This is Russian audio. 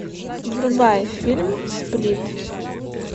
врубай фильм сплит